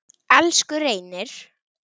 Elsku Reynir.